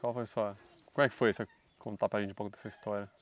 Qual foi a sua... Como é que foi você contar para gente um pouco da sua história?